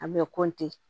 An bɛ